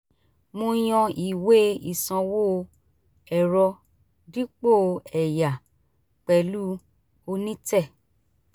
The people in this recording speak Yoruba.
mo yàn ìwé ìsanwó ẹ̀rọ dipo ẹ̀yà pẹ̀lú onítẹ̀